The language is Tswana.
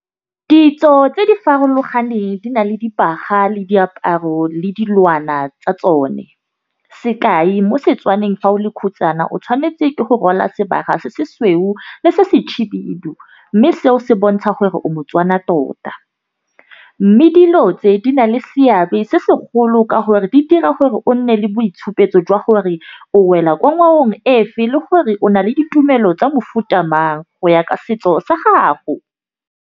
Ditso tse di farologaneng di na le dibaga le diaparo le dilwana tsa tsone. mo setswaneng fa o le khutshane o tšhwanetse ke go rwala sebaka se se sweu le se , mme seo se bontsha gore o motswana tota. Mme dilo tse di na le seabe se segolo ka gore di dira gore o nne le boitshupo jwa gore o wela kwa , le gore o na le ditumelo tsa mofuta amang go ya ka setso sa gago.